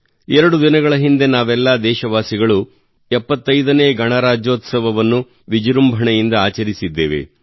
ಎರಡು ದಿನಗಳ ಹಿಂದೆ ನಾವೆಲ್ಲ ದೇಶವಾಸಿಗಳು 75ನೇ ಗಣರಾಜ್ಯೋತ್ಸವವನ್ನು ವಿಜೃಂಭಣೆಯಿಂದ ಆಚರಿಸಿದ್ದೇವೆ